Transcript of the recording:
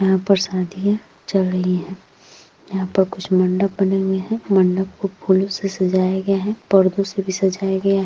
यह पर शादियां चल रही हैं। यहां पर कुछ मंडप बने हुए हैं। मंडप फूलों से सजाया गया है। पर्दो से भी सजाया जा रहा है।